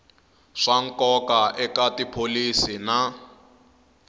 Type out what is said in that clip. swa nkoka eka tipholisi na